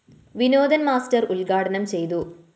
Vinodan‍ master ഉദ്‌ഘാടനം ചെയ്‌തു